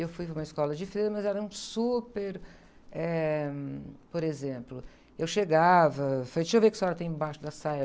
Eu fui para uma escola diferente, mas eram super... Eh... Por exemplo, eu chegava, falei, deixa eu ver o que a senhora tem embaixo da saia.